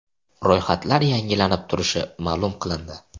Ro‘yxatlar yangilanib turishi ma’lum qilindi.